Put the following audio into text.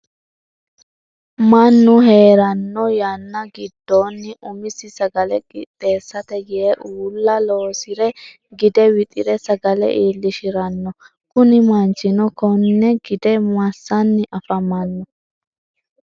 Mannu heeranno yanna gidoonni umisi sagale qixeesate yee uulla loosire gide wixire sagale iilishirano kunni manchino Kone gide masanni afamano?